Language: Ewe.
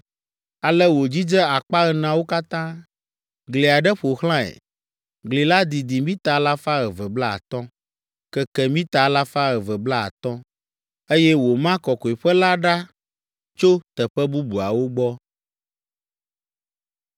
Ale wòdzidze akpa eneawo katã. Gli aɖe ƒo xlãe; gli la didi mita alafa eve kple blaatɔ̃ (250), keke mita alafa eve kple blaatɔ̃, eye wòma kɔkɔeƒe la ɖa tso teƒe bubuawo gbɔ.